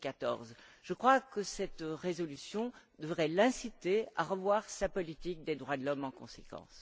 2014. Je crois que cette résolution devrait l'inciter à revoir sa politique des droits de l'homme en conséquence.